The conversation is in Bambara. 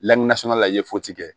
la i ye kɛ